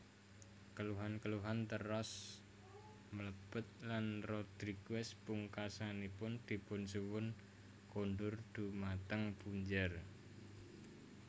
Keluhan keluhan teras mlebet lan Rodrigues pungkasanipun dipunsuwun kundur dhumateng punjer